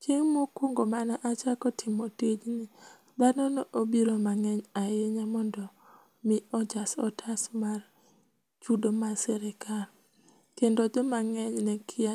Chieng mokuongo mane achako timo tijni dhano nobiro mangeny ahinya mondo mi ojas otas mar chudo mar sirkal ,kendo joma ngeny nekia